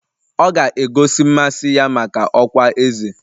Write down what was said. Ọ ga-egosi mmasị ya maka ọkwá eze